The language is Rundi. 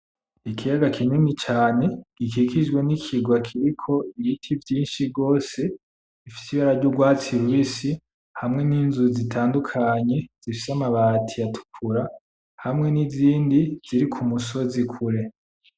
Ikiyaga kinini cane gikijwe nikigwa kiriko ibiti vyinshi gose bifise ibara ry'urwatsi rubisi hamwe n'inzu zitandukanye zifise amabati atukura hamwe nizindi ziri ku musozi kure .